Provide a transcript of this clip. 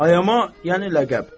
Ayama yəni ləqəb.